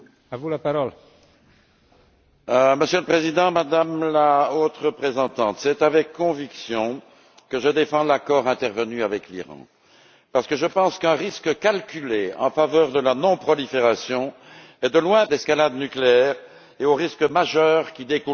Monsieur le Président, Madame la Haute représentante, c'est avec conviction que je défends l'accord intervenu avec l'Iran parce que je pense qu'un risque calculé en faveur de la non prolifération est de loin préférable au risque d'escalade nucléaire et aux risques majeurs qui découleraient d'aventureuses opérations guerrières.